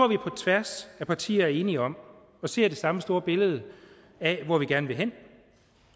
vi på tværs af partier er enige om og ser det samme store billede af hvor vi gerne vil hen